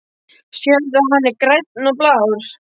Sérðu, hann er grænn og blár.